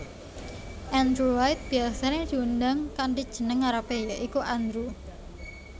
Andrew White biyasané diundang kanthi jeneng ngarepé ya iku Andrew